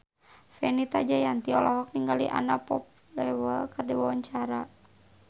Fenita Jayanti olohok ningali Anna Popplewell keur diwawancara